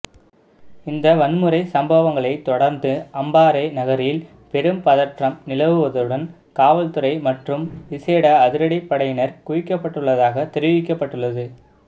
இந்த வன்முறை சம்பவங்களை தொடர்ந்து அம்பாறை நகரில் பெரும் பதற்றம் நிலவுவதுடன் காவல்துறை மற்றும் விசேட அதிரடிப்படையினர் குவிக்கப்பட்டுள்ளதாக தெரிவிக்கப்பட்டுள்ளது